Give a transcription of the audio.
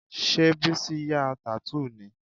Ṣé Bísí ya tattoo ni?